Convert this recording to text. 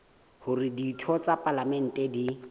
hore ditho tsa palamente di